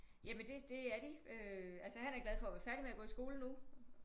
Jamen det er de øh altså han er glad for at være færdig med at gå i skole nu